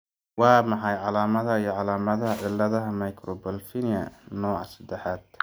Waa maxay calaamadaha iyo calaamadaha ciladaha microphthalmia, nooca sedexaad?